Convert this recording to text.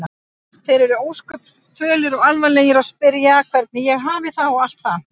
Þeir eru ósköp fölir og alvarlegir og spyrja hvernig ég hafi það og allt það.